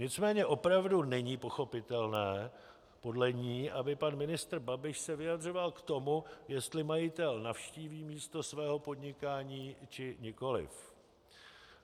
Nicméně opravdu není pochopitelné podle ní, aby pan ministr Babiš se vyjadřoval k tomu, jestli majitel navštíví místo svého podnikání, či nikoliv.